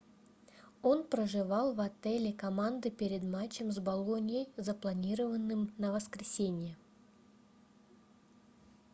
он проживал в отеле команды перед матчем с болоньей запланированным на воскресенье